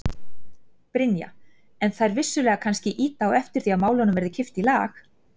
Brynja: En þær vissulega kannski ýta á eftir því að málunum verði kippt í lag?